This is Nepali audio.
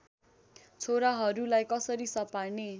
छोराहरूलाई कसरी सपार्ने